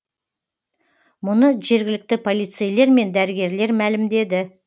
мұны жергілікті полицейлер мен дәрігерлер мәлімдеді